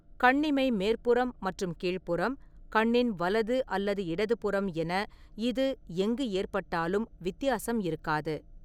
கண்ணிமை மேற்புறம் மற்றும் கீழ்புறம், கண்ணின் வலது அல்லது இடது புறம் என இது எங்கு ஏற்பட்டாலும் வித்தியாசம் இருக்காது.